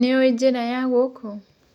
Ndĩũĩ njĩra ya kũũ.